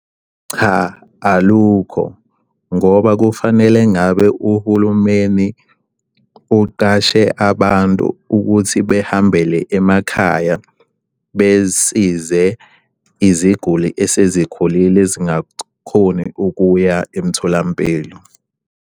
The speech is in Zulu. Cha alukho, ngoba kufanele ngabe uhulumeni uqashe abantu ukuthi behambele emakhaya besize iziguli esezikhulile ezingakhoni ukuya emtholampilo.